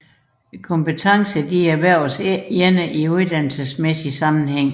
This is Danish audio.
Kompetencer erhverves ikke alene i uddannelsesmæssig sammenhæng